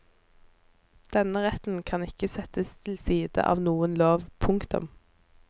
Denne retten kan ikke settes til side av noen lov. punktum